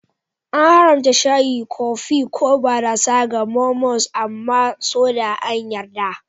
An haramta shayi, kofi, ko barasa ga Mormons amma soda an yarda.